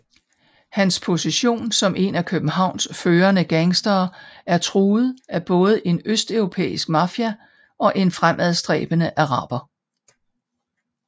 Hans position som en af Københavns førende gangstere er truet af både en østeuropæisk mafia og en fremadstræbende araber